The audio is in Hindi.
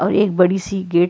और एक बड़ी सी गेट --